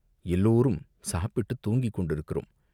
எல்லோரும் சாப்பிட்டுத் தூங்கி கொண்டிருக்கிறோம்.